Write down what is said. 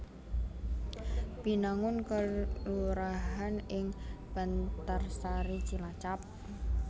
Binangun kelurahan ing Bantarsari Cilacap